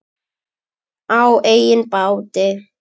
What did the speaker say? Á eigin báti.